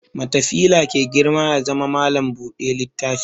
Matafila ke girma ya zama malam buɗe littafi